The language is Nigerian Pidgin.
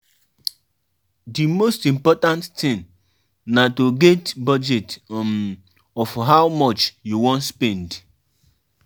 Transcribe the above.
Pesin wey dey handle drinks go make sure say fridge dey full.